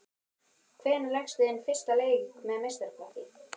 Hvenær lékstu þinn fyrsta leik með meistaraflokki?